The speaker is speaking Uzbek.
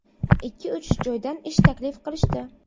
Ikki-uch joydan ish taklif qilishdi.